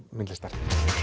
myndlistar